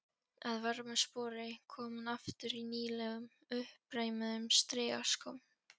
Að vörmu spori kom hún aftur í nýlegum, uppreimuðum strigaskóm.